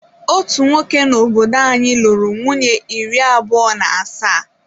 Otu nwoke n’obodo anyị lụrụ nwunye iri abụọ na asaa.